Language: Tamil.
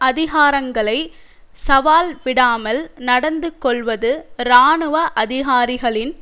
அதிகாரங்களை சவால் விடாமல் நடந்து கொள்வது இராணுவ அதிகாரிகளின்